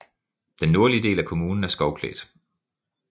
Den nordlige del af kommunen er skovklædt